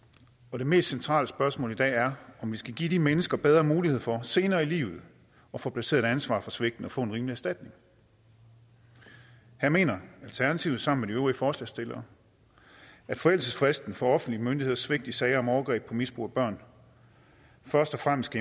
det mest centrale spørgsmål i dag er om vi skal give de mennesker bedre mulighed for senere i livet at få placeret et ansvar for svigtene og få en rimelig erstatning her mener alternativet sammen øvrige forslagsstillere at forældelsesfristen for offentlige myndigheders svigt i sager om overgreb på og misbrug af børn først og fremmest